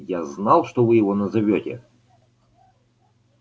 я знал что вы его назовёте